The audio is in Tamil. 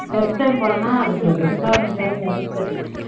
first time போறனா அதுக்கு சரி